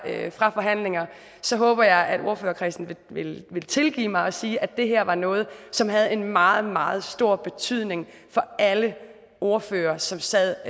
fra forhandlinger håber jeg at ordførerkredsen vil vil tilgive mig siger at det her var noget som havde en meget meget stor betydning for alle ordførere som sad